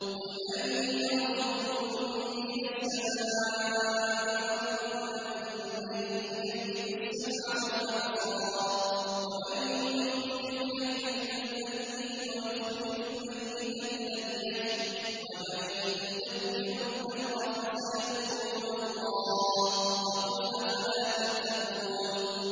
قُلْ مَن يَرْزُقُكُم مِّنَ السَّمَاءِ وَالْأَرْضِ أَمَّن يَمْلِكُ السَّمْعَ وَالْأَبْصَارَ وَمَن يُخْرِجُ الْحَيَّ مِنَ الْمَيِّتِ وَيُخْرِجُ الْمَيِّتَ مِنَ الْحَيِّ وَمَن يُدَبِّرُ الْأَمْرَ ۚ فَسَيَقُولُونَ اللَّهُ ۚ فَقُلْ أَفَلَا تَتَّقُونَ